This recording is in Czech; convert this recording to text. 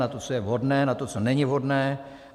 Na to, co je vhodné, na to, co není vhodné.